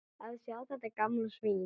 Að sjá þetta gamla svín.